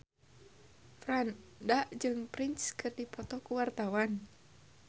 Franda jeung Prince keur dipoto ku wartawan